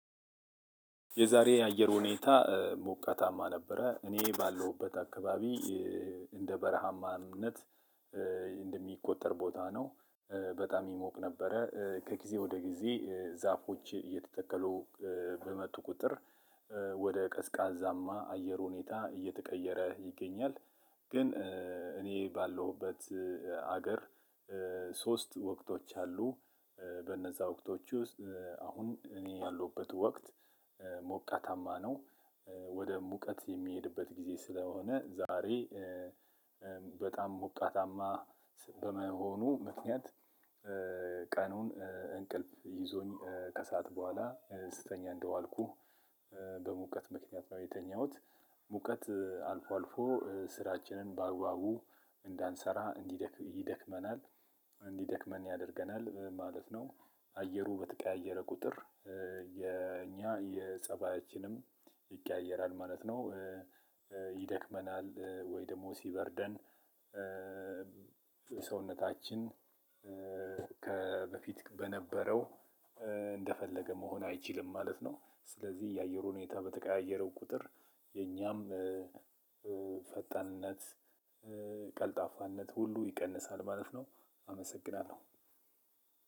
የዛሬ የአየር ሁኔታ ሞቃታማ ነበረ እኔ ባለሁበት አካባቢ እንደ በረሃማነት እንደሚቆጠር ቦታ ነው። በጣም ይሞቅ ነበረ ከጊዜ ወደ ጊዜ ዛፎች እየተተከሉ በመጡ ቁጥር ወደ ቀዝቃዛማ አየር ሁኔታ እየተቀየረ ይገኛል። ግን እኔ ባለሁበት ሀገር ሶስት ወቅቶች አሉ። በነዛ ወቅቶች ውስጥ አሁን እኔ ያሉበት ወቅት ሞቀታማ ነው። ወደ ሙቀት የሚሄድበት ጊዜ ስለሆነ ዛሬ በጣም ሞቃታማ በመሆኑ ምክንያት። ቀኑን እንቅልፍ ይዞኝ ከሰአት በኋላ ስተኛ እንደዋልኩህ በሙቀት ምክንያት ነው የተኛሁት። ሙቀት አልፎ አልፎ ስራችንን በአግባቡ እንዳንሰራ ይደክመናል እንዲደክመን ያደርገናል ማለት ነው። አየሩ በተቀያየረ ቁጥር የኛ የጸባያችንም ይቀያየራል ማለት ነው። ይደክመናል ወይ ደግሞ ሲበርደን። ሰውነታችን ከበፊት በነበረው እንደፈለገ መሆን አይችልም ማለት ነው። ስለዚህ የአየር ሁኔታ በተቀያየረ ቁጥር የኛም ፈጣንነት ቀልጣፋነት ሁሉ ይቀንሳል ማለት ነው። አመሰግናለሁ።